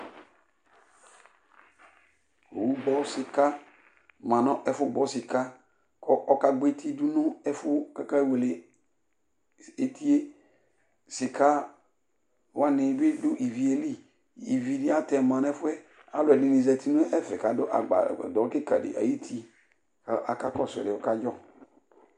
owu gbɔ sɩka ma nʋ ɛfʋ gbɔ sɩka kɔ aka gbɔeti dʋ nʋ ɛfʋ kaka wele etie, sɩka wanɩ bɩ dʋ ivie li, ivi bɩatɛma nɛ fʋɛ, alʋɛdɩnɩ zati nɛfɛ kadʋ agbadʋ kɩka dɩ áɣuti akakɔsʋ diɛ kadjɔ